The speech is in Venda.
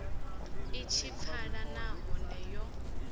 i tshi pfala nahone yo